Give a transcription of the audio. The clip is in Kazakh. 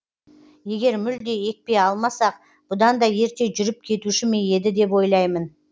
егер мүлде екпе алмасақ бұдан да ерте жүріп кетуші ме еді деп ойлаймын